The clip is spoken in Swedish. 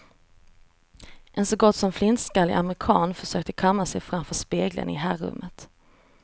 En så gott som flintskallig amerikan försökte kamma sig framför spegeln i herrumet.